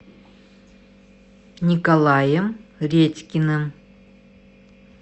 николаем редькиным